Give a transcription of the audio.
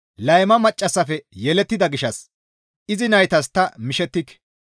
Layma maccassafe yelettida gishshas izi naytas ta mishettike.